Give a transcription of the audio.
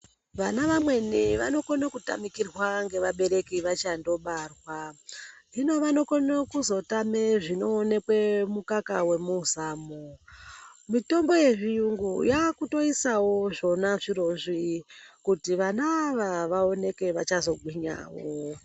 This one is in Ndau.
Vana vamweni vanokone kutamikirwa ngevabereki vachangobarwa. Hino vanokone kuzotame zvinoonekwe mumukaka wemuzamu. Mitombo yezviyungu yaakutoisawo zvona zvirozvi, kuti vana ava vaoneke vachazogwinya.